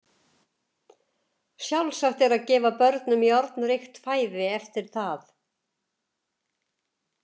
Sjálfsagt er að gefa börnum járnríkt fæði eftir það.